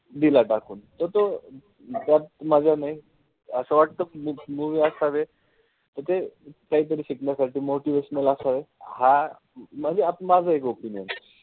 दिला टाकून. त तो त्यात मजा नाई. असं वाटत movie असावे. त ते काहीतरी शिकण्यासाठी motivational असंय. हा म्हणजे माझं एक opinion आहे.